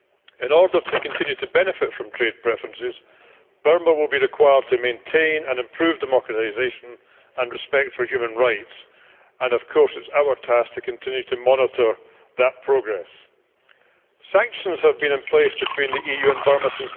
In order to continue to benefit from trade preferences, Burma will be required to maintain and improve democratisation and respect for human rights and, of course, it is our task to continue to monitor that progress. Sanctions have been in place between the EU and Burma since